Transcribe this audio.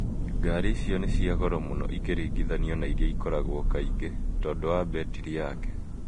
Ngari icio nĩ cia goro mũno ikĩringithanio na iria ikoragwo kaingĩ .Tondũ wa betiri yake.